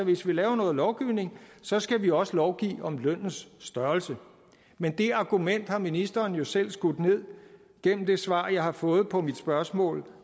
hvis vi laver noget lovgivning så skal vi også lovgive om lønnens størrelse men det argument har ministeren jo selv skudt ned gennem det svar jeg har fået på mit spørgsmål en